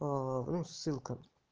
ну ссылка